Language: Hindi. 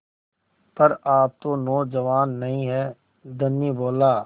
पर आप तो नौजवान नहीं हैं धनी बोला